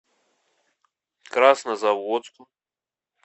краснозаводску